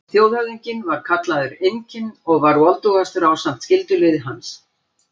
Þjóðhöfðinginn var kallaður Inkinn og var voldugastur ásamt skyldulið hans.